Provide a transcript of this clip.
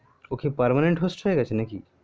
ও কি permanent host হয়ে গেছে নাকি